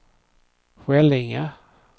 Skällinge